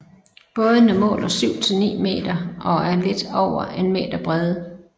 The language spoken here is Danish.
Bådene måler 7 til 9 meter og er lidt over en meter brede